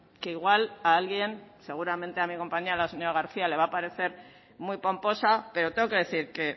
que igual a alguien seguramente a mi compañera la señora garcía le va parecer muy pomposa pero tengo que decir que